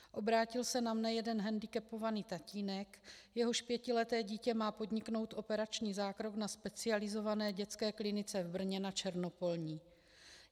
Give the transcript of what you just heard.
Obrátil se na mě jeden hendikepovaný tatínek, jehož pětileté dítě má podniknout operační zákrok na specializované dětské klinice v Brně na Černopolní.